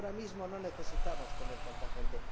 Y ahora mismo no necesitamos tener a tanta gente.